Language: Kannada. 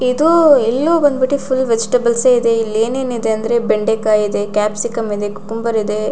ಎದು ಇಲ್ಲಿಯೂ ಬಂದ್ಬಿಟ್ಟಿ ಫುಲ್ ವೆಜಿಟೇಬಲ್ಸ್ ಎ ಇದೆ. ಇಲ್ಲಿ ಏನೇನ್ ಇದೆ ಅಂದ್ರೆ ಬೆಂಡೆಕಾಯಿ ಇದೆ ಕ್ಯಾಪ್ಸಿಕಂ ಇದೆ ಕುಕುಂಬರ್ ಇದೆ.